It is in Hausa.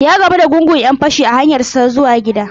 Ya gamu da gungun 'yan-fashi a hanyarsa ta zuwa gida.